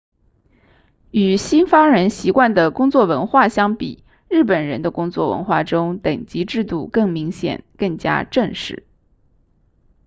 与西方人习惯的工作文化相比日本人的工作文化中等级制度更明显更加正式